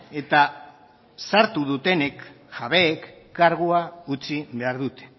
eta sartu dutenek jabeek kargua utzi behar dute